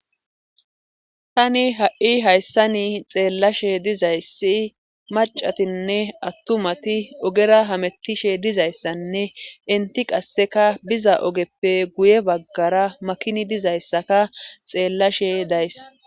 tani ha7i hayssani xeellashe dizayssi macatinne attumati ogera hamettishe dizayssanne inti qasseka biza ogeppe guye baggara makini dizayssaka xeellashe days